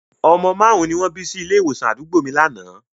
Ọmọ márùn-ún ni wọ́n bí sí ilé ìwòsàn àdúgbò mi lánàá